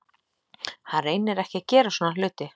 Hann reynir ekki að gera svona hluti.